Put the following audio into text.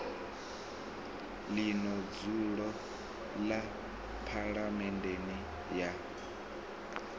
ḽino dzulo ḽa phaḽamennde ya